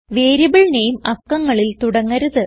variable നാമെ അക്കങ്ങളിൽ തുടങ്ങരുത്